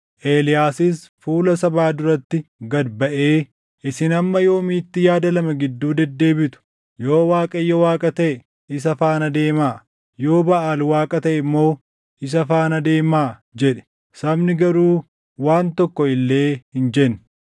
Eeliyaasis fuula sabaa duratti gad baʼee, “Isin hamma yoomiitti yaada lama gidduu deddeebitu? Yoo Waaqayyo Waaqa taʼe, isa faana deemaa; yoo Baʼaal Waaqa taʼe immoo isa faana deemaa” jedhe. Sabni garuu waan tokko illee hin jenne.